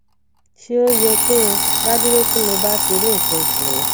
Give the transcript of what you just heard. se o ye ki n daduro ti mo ba ti ri nkan osu mi